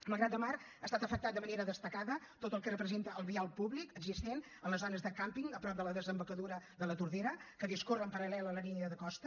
malgrat de mar ha estat afectat de manera destacada tot el que representa el vial públic existent en les zones de càmping a prop de la desembocadura de la tordera que discorre en paral·lel a la línia de costa